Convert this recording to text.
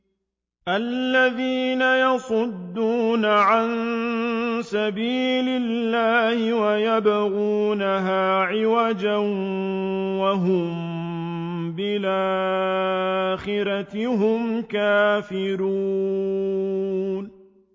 الَّذِينَ يَصُدُّونَ عَن سَبِيلِ اللَّهِ وَيَبْغُونَهَا عِوَجًا وَهُم بِالْآخِرَةِ هُمْ كَافِرُونَ